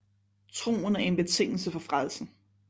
Troen er en betingelse for frelsen